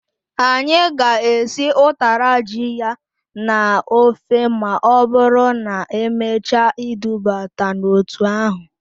Anyị ga-esi utara ji ya na-ofe ma ọbụrụ na-emechaa idubata n'otu ahụ.